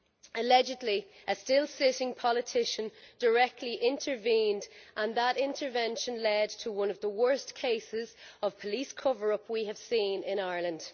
Allegedly, a still sitting politician directly intervened, and that intervention led to one of the worst police cover ups we have seen in Ireland.